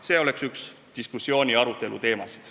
See võiks olla üks diskussiooniteemasid.